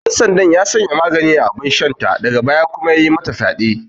Ɗansandan ya sanya magani a abinshanta daga baya kuma yayi mata fyaɗe.